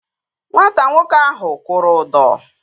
Nwata nwoke ahụ kwụrụ ụdọ